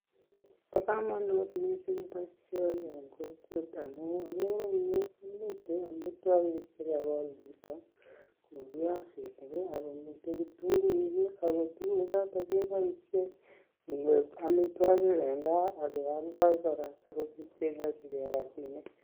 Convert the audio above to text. Bo komonut mising boishoni eng kokwet amu akere eng yu komite amitwokik chekakol chito ku piasinik akomite kitunguik ako tukuchoto keboishe kwek amitwokik eng gaa akeoldoi kora asikobit kenyorchigei rabiinik.